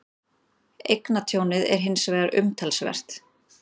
Eignatjónið er hins vegar umtalsvert